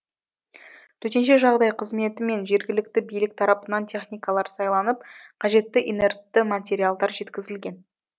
төтенше жағдай қызметі мен жергілікті билік тарапынан техникалар сайланып қажетті инертті материалдар жеткізілген